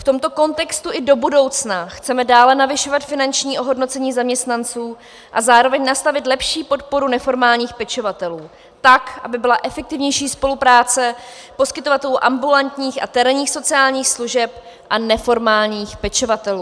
V tomto kontextu i do budoucna chceme dále navyšovat finanční ohodnocení zaměstnanců a zároveň nastavit lepší podporu neformálních pečovatelů tak, aby byla efektivnější spolupráce poskytovatelů ambulantních a terénních sociálních služeb a neformálních pečovatelů.